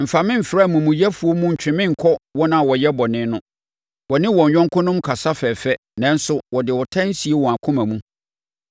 Mfa me mfra amumuyɛfoɔ mu ntwe me nkɔ wɔn a wɔyɛ bɔne no. Wɔne wɔn yɔnkonom kasa fɛfɛ nanso wɔde ɔtan sie wɔn akoma mu.